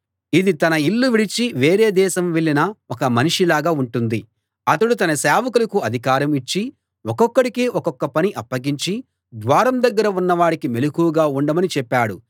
ఇది తన ఇల్లు విడిచి వేరే దేశం వెళ్ళిన ఒక మనిషిలాగా ఉంటుంది అతడు తన సేవకులకు అధికారం ఇచ్చి ఒక్కొక్కడికి ఒక్కొక్క పని అప్పగించి ద్వారం దగ్గర ఉన్నవాడికి మెలకువగా ఉండమని చెప్పాడు